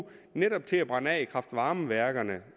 netop til at brænde af i kraft varme værkerne